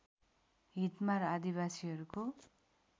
हितमा र आदिवासीहरूको